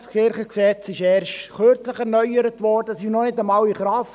Das LKG wurde erst kürzlich erneuert und ist noch nicht einmal in Kraft.